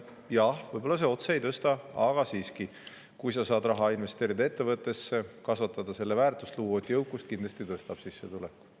Jaa, võib-olla see otse ei tõsta, aga siiski: kui sa saad ettevõttesse raha investeerida, kasvatada selle väärtust, luua uut jõukust, siis see kindlasti tõstab sissetulekut.